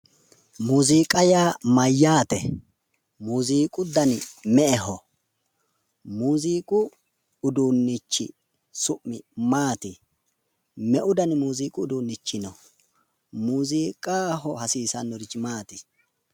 Muuziiqa yaa mayyaate? muuziqu dani me'eho? muuziiqu uduunnichi su'mi maati? meu dani muuziiqu uduunnichi no? muuziizqaho hasiisannorichi mayi no?